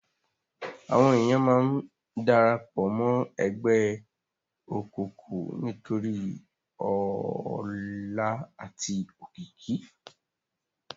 Àwón éniyán má n dàrâpò mò ègbè ókúkú nitóri òlá âti ókiki